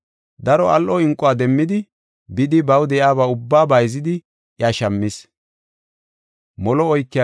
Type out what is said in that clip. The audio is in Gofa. Daro al7o inquwa demmidi bidi baw de7iyaba ubbaa bayzidi iya shammis.